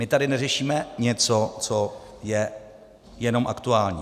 My tady neřešíme něco, co je jenom aktuální.